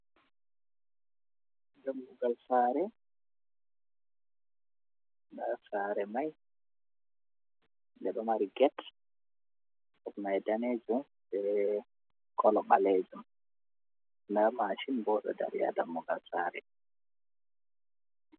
Dammugal saare. Nda saare mai nde ɗo mari get, get mai danejum be kolo ɓalejum. Nda mashin bo ɗo dari haa dammugal saare.